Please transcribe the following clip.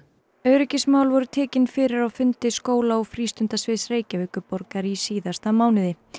öryggismál voru tekin fyrir á fundi skóla og Reykjavíkurborgar í síðasta mánuði